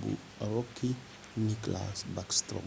bu rookie nicklas backstrom